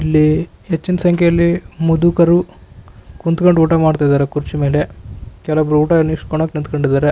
ಇಲ್ಲಿ ಹೆಚ್ಚಿನ ಸಂಖ್ಯೆಯಲ್ಲಿ ಮುದುಕರು ಕುಂತ್ಕೊಂಡು ಊಟ ಮಾಡ್ತಿದಾರೆ ಕುರ್ಚಿ ಮೇಲೆ ಕೆಲೋಬ್ಬರು ಊಟ ಇಸ್ಕೊಳ್ಳೋಕೆ ನಿಂತ್ಕೊಂಡಿದ್ದಾರೆ.